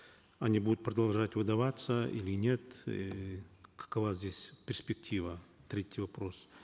они будут продолжать выдаваться или нет эээ какова здесь перспектива третий вопрос